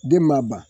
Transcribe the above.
Den ma ban